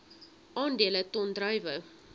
aandele ton druiwe